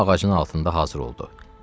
Hamı ağacın altında hazır oldu.